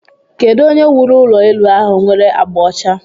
Kedu onye wuru ulo elu ahụ nwere agba ọcha?